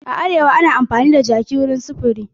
A Arewa ana kan amfani da jaki wajen sufuri